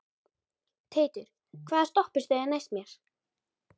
Teitur, hvaða stoppistöð er næst mér?